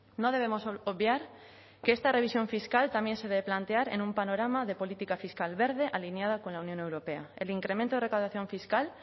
no debemos obviar que esta revisión fiscal también se debe plantear en un panorama de política fiscal verde alineada con la unión europea el incremento de recaudación fiscal